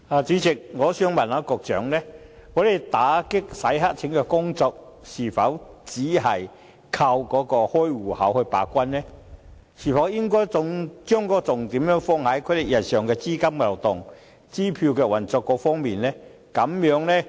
主席，我想問局長，在打擊洗黑錢的工作方面，我們是否只靠開戶時把關；我們是否應將重點放在有關戶口日常的資金流動和支票運作上？